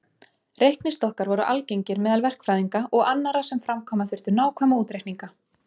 Reiknistokkar voru algengir meðal verkfræðinga og annarra sem framkvæma þurftu nákvæma útreikninga.